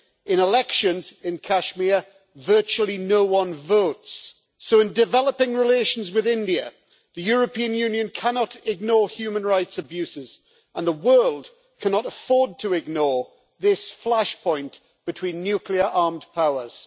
In elections in Kashmir virtually no one votes, so in developing relations with India, the European Union cannot ignore human rights abuses, and the world cannot afford to ignore this flashpoint between nuclear armed powers.